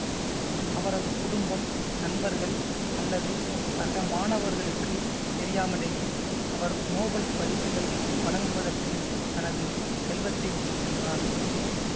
அவரது குடும்பம் நண்பர்கள் அல்லது சக மாணவர்களுக்கு தெரியாமலேயே அவர் நோபல் பரிசுகள் வழங்குவதற்கு தனது செல்வத்தை விட்டு சென்றார்